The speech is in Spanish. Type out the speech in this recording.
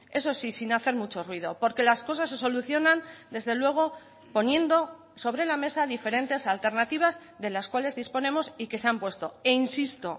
eso sí sin hacer mucho ruido porque las cosas se solucionan desde luego poniendo sobre la mesa diferentes alternativas de las cuales disponemos y que se han puesto e insisto